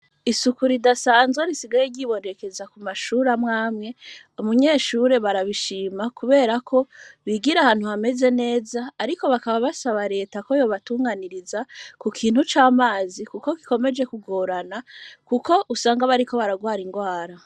Isuku ridasanzwe, risigaye ryibonekeza ku mashure, amwe amwe, umunyeshure, barabishima, kubera ko, bigira ahantu hameze neza; ariko bakaba, basaba leta ko, yobatunganiriza; ku kintu c'amazi, kuko gikomeje kugorana, kuko usanga, bariko bararwara ingwara.